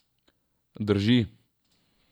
Drži.